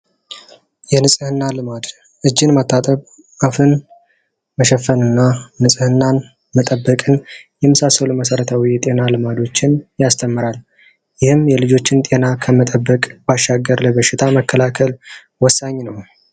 የንጽህና ልማድ እጅን መታጠብ አፍን መሸፈን እና ንጽህናን መጠበቅን የመሳሰሉ የጤና ልማዶችን ያስተምራል ይህም የልጆችን ጤና ለመጠበቅ አስፈላጊ ነው።